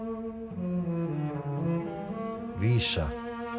vísa